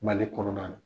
Mali kɔnɔna na